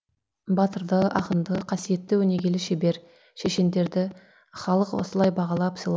батырды ақынды қасиетті өнегелі шебер шешендерді халық осылай бағалап